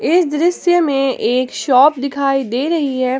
इस दृश्य में एक शॉप दिखाई दे रही है।